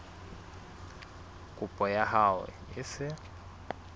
kopo ya hao e se